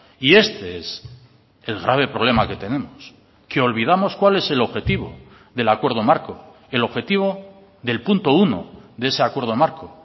y este es el grave problema que tenemos que olvidamos cuál es el objetivo del acuerdo marco el objetivo del punto uno de ese acuerdo marco